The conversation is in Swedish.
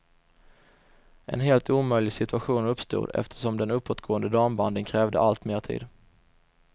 En helt omöjlig situation uppstod, eftersom den uppåtgående dambandyn krävde allt mer tid.